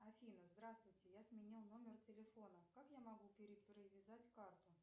афина здравствуйте я сменила номер телефона как я могу перепривязать карту